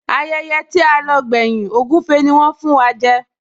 Ayẹyẹ tí a lọ gbẹ́yìn, ògúfe ni wón fún wa jẹ